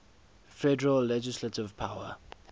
federal legislative power